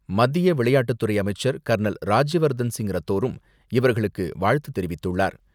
மத்திய விளையாட்டுத்துறை அமைச்சர் கர்னல் ராஜ்யவர்தன்சிங் ரத்தோரும் இவர்களுக்கு வாழ்த்து தெரிவித்துள்ளார்.